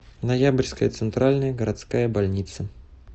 ноябрьская центральная городская больница